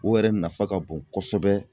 O yɛrɛ nafa ka bon kosɛbɛ